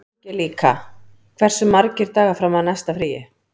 Angelíka, hversu margir dagar fram að næsta fríi?